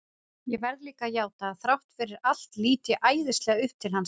Ég verð líka að játa að þrátt fyrir allt lít ég æðislega upp til hans.